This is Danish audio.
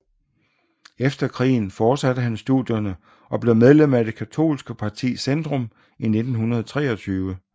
Efter krigen fortsatte han studierne og blev medlem af det katolske parti Zentrum i 1923